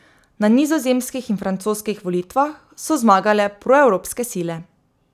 Na nizozemskih in francoskih volitvah so zmagale proevropske sile.